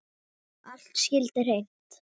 Allt skyldi hreint.